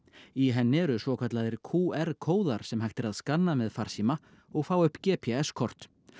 í henni eru svokallaðir q r kóðar sem hægt er að skanna með farsíma og fá upp g p s kort